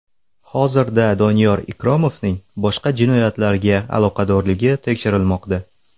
Hozirda Doniyor Ikromovning boshqa jinoyatlarga aloqadorligi tekshirilmoqda.